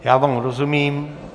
Já vám rozumím.